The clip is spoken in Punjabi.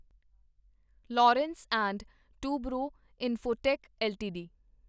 Larsen and Toubro Infotech LTD